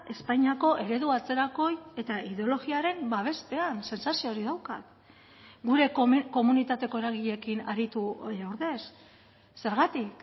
espainiako eredu atzerakoi eta ideologiaren babestean sentsazio hori daukat gure komunitateko eragileekin aritu ordez zergatik